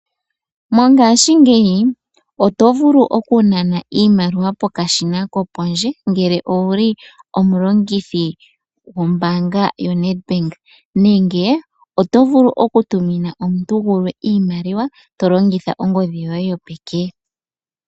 Mongashingeyi oto vulu oku nana iimaliwa pokashina kopondje ngele owuli omulongithi gombaanga yo Nedbank nenge oto vulu oku tumina omuntu gulwe iimaliwa to longitha ongodhi yoye yopeke.